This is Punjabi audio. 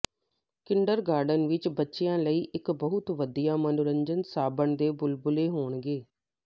ਕਿੰਡਰਗਾਰਟਨ ਵਿਚ ਬੱਚਿਆਂ ਲਈ ਇਕ ਬਹੁਤ ਵਧੀਆ ਮਨੋਰੰਜਨ ਸਾਬਣ ਦੇ ਬੁਲਬੁਲੇ ਹੋਣਗੇ